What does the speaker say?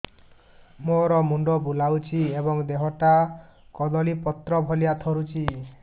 ମୋର ମୁଣ୍ଡ ବୁଲାଉଛି ଏବଂ ଦେହଟା କଦଳୀପତ୍ର ଭଳିଆ ଥରୁଛି